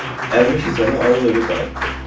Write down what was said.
Əlimə keçəni alıb evə qayıtdım.